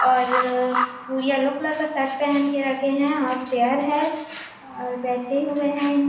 और वो yellow colour का शर्ट पहन के रखे हैं और चेयर है और बैठे हुए हैं।